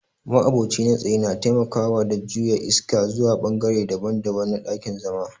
ma'aboci na tsaye na taimaka da juya iska zuwa bangare daban-daban na dakin-zama.